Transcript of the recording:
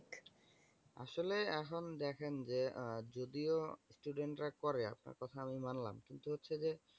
আসলে এখন দেখেন যে, আহ যদিও student রা করে আপনার কথা আমি মানলাম। কিন্তু হচ্ছে যে,